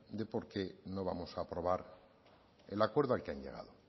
de por qué no vamos a aprobar el acuerdo al que han llegado